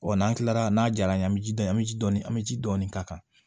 Wa n'an kilala n'a jala an ye an bɛ ji dɔɔni an bɛ ji dɔɔni an bɛ ji dɔɔni k'a kan